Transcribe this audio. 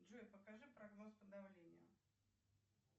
джой покажи прогноз по давлению